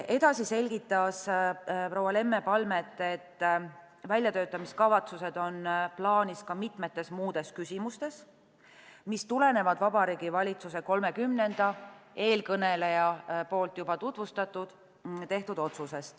Edasi selgitas proua Lemme Palmet, et väljatöötamiskavatsused on plaanis ka mitmetes muudes küsimustes, mis tulenevad 30. jaanuaril Vabariigi Valitsuse tehtud otsusest, mida eelkõneleja juba tutvustas.